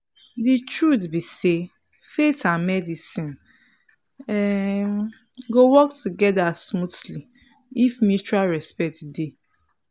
the truth be sayfaith and medicine um go work together smoothly if mutual respect dey.